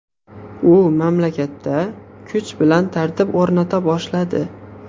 U mamlakatda kuch bilan tartib o‘rnata boshladi.